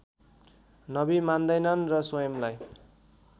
नबी मान्दैनन् र स्वयंलाई